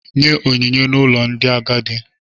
Nye onyinye n'ụlọ ndị agadi.